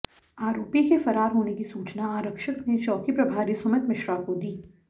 आरोपी के फरार होने की सूचना आरक्षक ने चौकी प्रभारी सुमित मिश्रा को दी